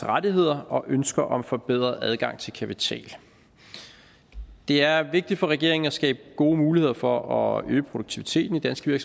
rettigheder og ønsker om forbedret adgang til kapital det er vigtigt for regeringen at skabe gode muligheder for at øge produktiviteten i danske